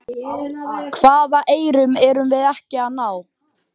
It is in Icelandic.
Hvaða eyrum erum við ekki að ná?